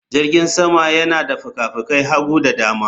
Jirgin sama yana da fikafikan hagu da dama